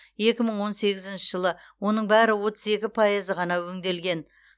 екі мың он сегізінші жылы оның бәрі отыз екі пайызы ғана өңделген